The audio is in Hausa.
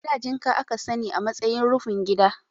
A da jinka a ka sani a matsayin rufin gida.